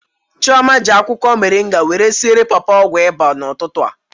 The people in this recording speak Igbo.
Chioma ji akwụkwọ moringa wéré siere papa ọgwụ ịba n'ụtụtụ a